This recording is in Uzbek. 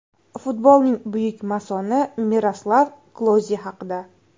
Futbolning buyuk masoni Miroslav Kloze haqida.